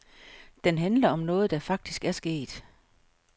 Den handler om noget, der faktisk er sket.